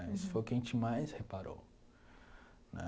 Né isso foi o que a gente mais reparou né.